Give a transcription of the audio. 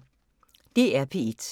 DR P1